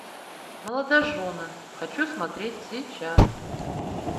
молодожены хочу смотреть сейчас